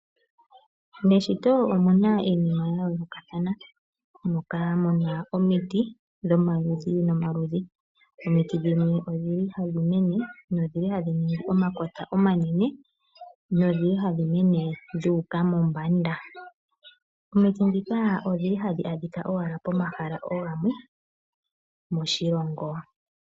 Meshito omuna iinima ya yoolokathana moka muna omiti dhoma ludhi nomaludhi ,omiti dhimwe odhili hadhimene nodhili hadhi ningi omakota omanene, nodhili hadhi mene dhuuka mombanda ,omiti ndhika odhili hadhi adhika owala pomahala oogamwe moshilongo.